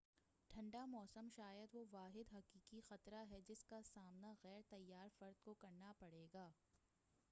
ٹھنڈا موسم شاید وہ واحد حقیقی خطرہ ہے جس کا سامنا غیرتیّار فرد کو کرنا پڑے گا